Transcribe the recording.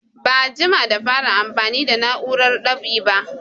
Ba a jima da fara amfani da na'urar dab'i ba